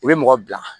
U bɛ mɔgɔ bila